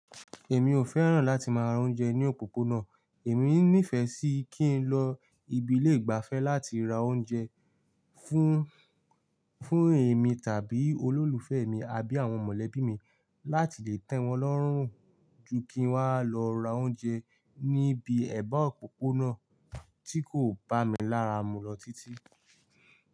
Èmi ò fẹ́ràn láti máa roúnjẹ ní òpópónà, èmi nífẹ̀ẹ́ sí kí n lọ ibi ilè igbàfẹ́ láti ra oúnjẹ fún, fún èmi tàbí olólùfẹ́ mi àbí àwọn mọ̀lẹ́bí mi láti lè tẹ́ wọn lọ́rùn ju kí n wá lọ ra oúnjẹ níbi ẹ̀bá òpópónà tí kò bá mi lára mú lọ títí.